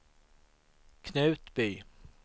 Knutby